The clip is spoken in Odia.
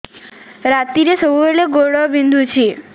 ରାତିରେ ସବୁବେଳେ ଗୋଡ ବିନ୍ଧୁଛି